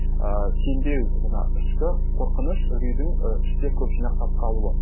ііі сенбеу жаңа ішкі қорқыныш үрейдің і іште көп жинақтап қалуы